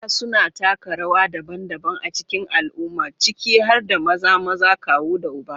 Maza suna taka rawa daban-daban a cikin al'umma, ciki har da maza, maza, kawu, da uba.